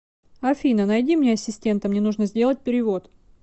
афина найди мне ассистента мне нужно сделать перевод